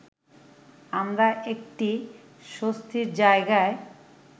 আমরা একটি স্বস্তির জায়গায়